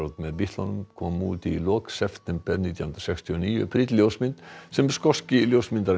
með Bítlunum kom út í lok september nítján hundruð sextíu og níu prýdd ljósmynd sem skoski ljósmyndarinn